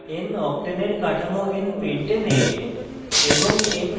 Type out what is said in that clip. noctane এর কাঠামো npentane এ এবং